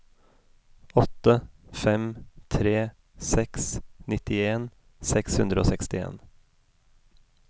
åtte fem tre seks nittien seks hundre og sekstien